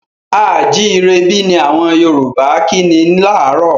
A à jírebí! ni àwọn Yorùbá kí ni láárò.